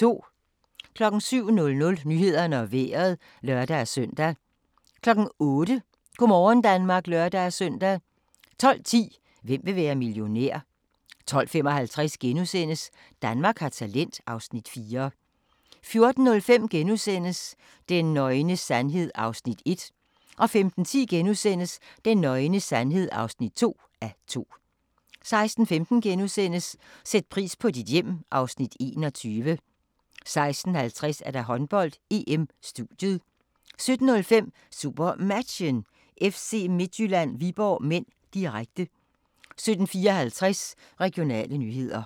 07:00: Nyhederne og Vejret (lør-søn) 08:00: Go' morgen Danmark (lør-søn) 12:10: Hvem vil være millionær? 12:55: Danmark har talent (Afs. 4)* 14:05: Den nøgne sandhed (1:2)* 15:10: Den nøgne sandhed (2:2)* 16:15: Sæt pris på dit hjem (Afs. 21)* 16:50: Håndbold: EM - studiet 17:05: SuperMatchen: FC Midtjylland-Viborg (m), direkte 17:54: Regionale nyheder